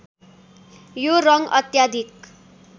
यो रङ्ग अत्याधिक